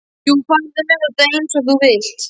Jú, farðu með þetta eins og þú vilt.